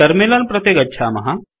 terminal प्रति गच्छामः